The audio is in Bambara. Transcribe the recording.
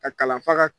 Ka kalan fa ka